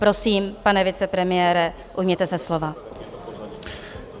Prosím, pane vicepremiére, ujměte se slova.